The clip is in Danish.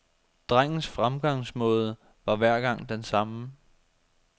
Drengens fremgangsmåde var hver gang den samme.